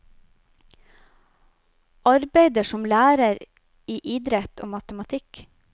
Arbeider som lærer i idrett og matematikk.